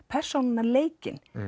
persónunnar leikinn